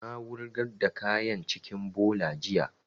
Na wurgar da kayan cikin bola jiya